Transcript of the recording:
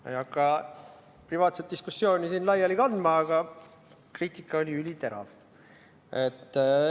Ma ei hakka privaatset diskussiooni siin laiali kandma, aga kriitika oli üliterav.